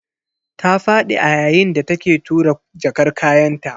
Ta fadi a yayin da take tura jakar kayanta.